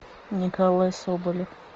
николай соболев